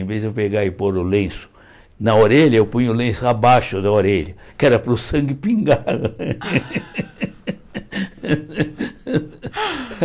Em vez de eu pegar e pôr o lenço na orelha, eu punho o lenço abaixo da orelha, que era para o sangue pingar.